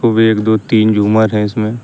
वे एक दो तीन झूमर है इसमे।